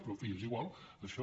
però en fi és igual això